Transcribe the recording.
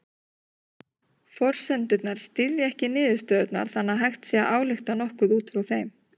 Forsendurnar styðja ekki niðurstöðurnar þannig að hægt sé að álykta nokkuð út frá þeim.